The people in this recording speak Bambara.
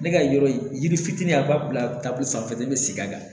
Ne ka yɔrɔ yiri fitinin a b'a bila bolo sanfɛla de bɛ segin a kan